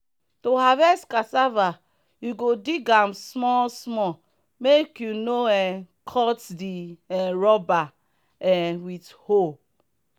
to harvest cassava you go dig am small small make you no um cut the um tuber um with hoe.